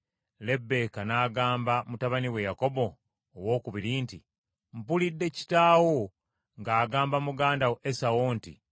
Lebbeeka n’agamba mutabani we Yakobo owookubiri nti, “Mpulidde kitaawo ng’agamba muganda wo Esawu nti,